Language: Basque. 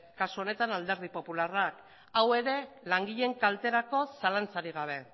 kasu honetan alderdi popularra hau ere langileen kalterako zalantzarik gabe